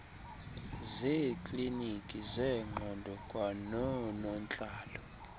zeeklinikhi zengqondo kwanoonontlalo